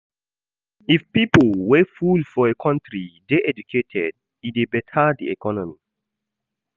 If pipo wey full for a country de educated e de better di economy